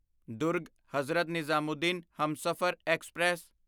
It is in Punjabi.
ਦੁਰਗ ਹਜ਼ਰਤ ਨਿਜ਼ਾਮੂਦੀਨ ਹਮਸਫ਼ਰ ਐਕਸਪ੍ਰੈਸ